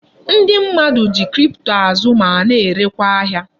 Ndi mmadu ji kripto azụ ma na erekwa ahia